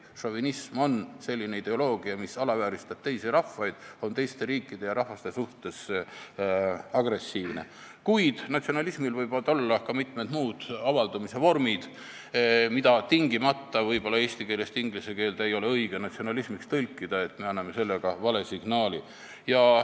Šovinism on selline ideoloogia, mis alavääristab teisi rahvaid, on teiste riikide ja rahvaste suhtes agressiivne, kuid natsionalismil võivad olla ka mitmed muud avaldumise vormid, mida võib-olla eesti keelest inglise keelde tõlkides ei ole tingimata õige natsionalismiks nimetada, me annaksime sellega vale signaali.